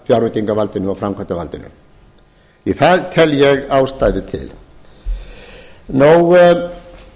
fjárveitingavaldinu og framkvæmdarvaldinu því að það tel ég ástæðu til ég ætla